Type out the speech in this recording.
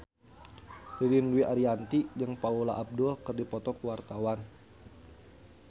Ririn Dwi Ariyanti jeung Paula Abdul keur dipoto ku wartawan